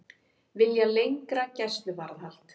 Vilja lengra gæsluvarðhald